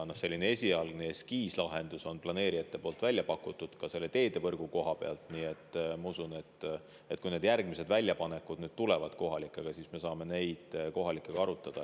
Esialgse eskiislahenduse on planeerijad välja pakkunud, ka teedevõrgu koha pealt, nii et ma usun, et kui tulevad järgmised, siis me saame neid asju kohalike elanikega arutada.